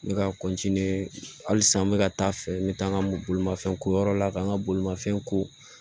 N bɛ ka halisa n bɛ ka taa a fɛ n bɛ taa n ka mɔbolimafɛn ko yɔrɔ la k'an ka bolimafɛn ko